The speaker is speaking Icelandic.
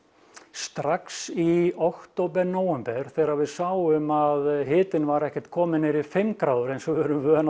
strax í október nóvember þegar við sáum að hitinn var ekkert kominn niður í fimm gráður eins og við erum vön á